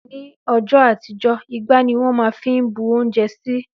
Ní õjõ àtíjö, ìgbá ní wõn má n fí bú ounjé sí